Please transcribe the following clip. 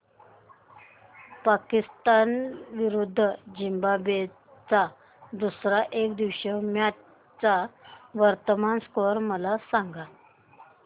पाकिस्तान विरुद्ध झिम्बाब्वे च्या दुसर्या एकदिवसीय मॅच चा वर्तमान स्कोर मला सांगा